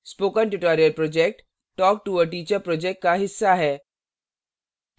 spoken tutorial project talktoa teacher project का हिस्सा है